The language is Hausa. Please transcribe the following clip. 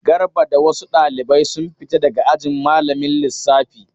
Garba da wasu ɗalibai sun fita daga ajin malamin lissafi.